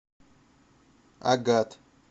агат